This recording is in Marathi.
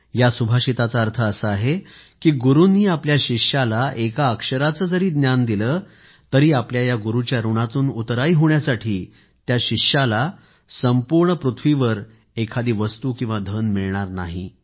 या सुभाषिताचा अर्थ असा आहे की गुरूंनी आपल्या शिष्याला एका अक्षराचं जरी ज्ञान दिलं तर आपल्या या गुरूंच्या ऋणातून उतराई होण्यासाठी त्या शिष्याला संपूर्ण पृथ्वीवर एखादी वस्तू किंवा धन मिळणार नाही